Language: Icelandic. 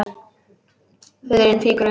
Hurðin fýkur upp.